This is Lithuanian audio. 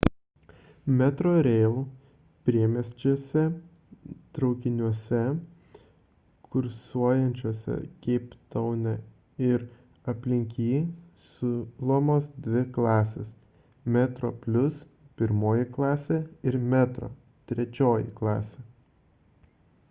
metrorail priemestiniuose traukiniuose kursuojančiuose keiptaune ir aplink jį siūlomos dvi klasės: metroplus pirmoji klasė ir metro trečioji klasė